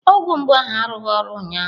Ọgwụ mgbu ahụ arụghị ọrụ ụnyaahụ.